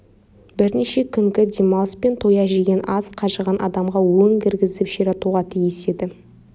бірнеше күнгі демалыс пен тоя жеген ас қажыған адамға өң кіргізіп ширатуға тиіс еді